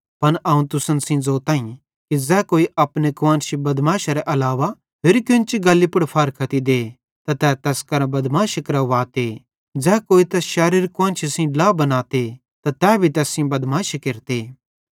पन अवं तुसन सेइं ज़ोताईं कि ज़ै कोई अपने कुआन्शी बदमैशरे अलावा होरि केन्ची गल्ली पुड़ फारख्ती दे त तै तैस केरां बदमैशी केरवाते ते ज़ै कोई तैस शैरोरी कुआन्शी सेइं ड्ला बनाते त तै भी तैस सेइं बदमाशी केरते